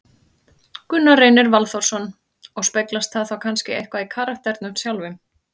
Gunnar Reynir Valþórsson: Og speglast það þá kannski eitthvað í karakternum sjálfum?